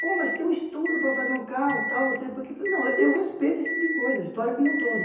Pô, mas tem um estudo para fazer um carro, tal, você... Não, eu respeito esse tipo de coisa, história como um todo.